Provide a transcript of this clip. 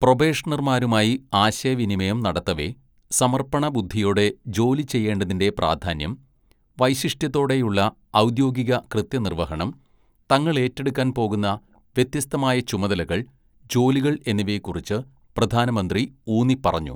"പ്രൊബേഷണര്‍മാരുമായി ആശയവിനിമയം നടത്തവെ, സമര്‍പ്പണ ബുദ്ധിയോടെ ജോലി ചെയ്യേണ്ടതിന്റെ പ്രാധാന്യം, വൈശിഷ്ട്യത്തോടെയുള്ള ഔദ്യോഗിക കൃത്യനിര്‍വഹണം, തങ്ങള്‍ ഏറ്റെടുക്കാന്‍ പോകുന്ന വ്യത്യസ്ഥമായ ചുമതലകള്‍, ജോലികള്‍ എന്നിവയെക്കുറിച്ച് പ്രധാനമന്ത്രി ഊന്നിപ്പറഞ്ഞു. "